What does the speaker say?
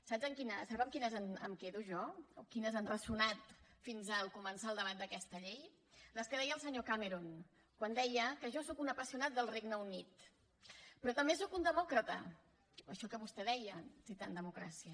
sap amb quines em quedo jo o quines han ressonat fins a començar el debat d’aquesta llei les que deia el senyor cameron quan deia jo sóc un apassionat del regne unit però també sóc un demòcrata això que vostè deia citant democràcia